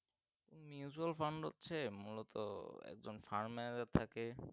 mutual fund হচ্ছে মূলত একজন framar থাকে